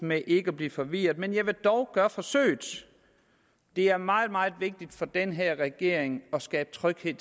med ikke at blive forvirret men jeg vil dog gøre forsøget det er meget meget vigtigt for den her regering at skabe tryghed